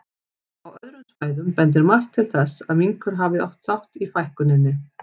Á öðrum svæðum bendir margt til þess að minkur hafi átt þátt í fækkuninni.